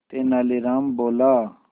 तेनालीराम बोला